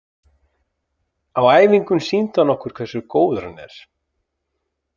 Á æfingum sýndi hann okkur hversu góður hann er.